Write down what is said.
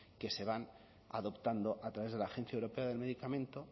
que se van adoptando a través de la agencia europea del medicamento